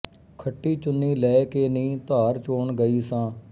ਖੱਟੀ ਚੁੰਨੀ ਲੈ ਕੇ ਨੀ ਧਾਰ ਚੋਣ ਗਈ ਸਾ